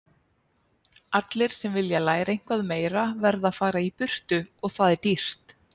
Allir sem vilja læra eitthvað meira verða að fara í burtu og það er dýrt